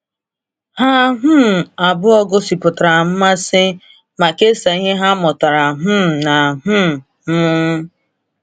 Ha um abụọ gosipụtara mmasị ma kesaa ihe ha mụtara um na um m.